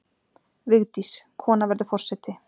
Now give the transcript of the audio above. Vigdís- Kona verður forseti.